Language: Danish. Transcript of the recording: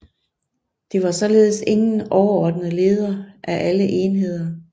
Det var således ingen overordnet leder af alle enheder